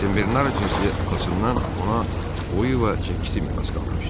Senbernar cinsi atasından ona boyu və çəkisi miras qalmışdı.